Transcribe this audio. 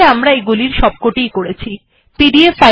তাহলে আমরা এগুলির সবটি ই করেছি এটি একবার পড়ে দেখা যাক